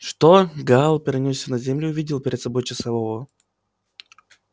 что гаал перенёсся на землю и увидел перед собой часового